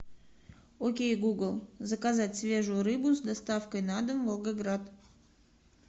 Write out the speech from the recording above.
окей гугл заказать свежую рыбу с доставкой на дом волгоград